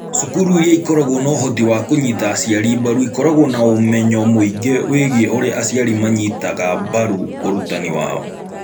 Cukuru iria ikoragwo na ũhoti wa kũnyita aciari mbaru ikoragwo na ũmenyo mũingĩ wĩgiĩ ũrĩa aciari manyitaga mbaru ũrutani (ũhoti) wao